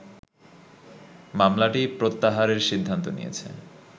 মামলাটিই প্রত্যাহারের সিদ্ধান্ত নিয়েছে